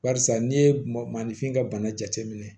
Barisa n'i ye mɔ ni fin ka bana jateminɛ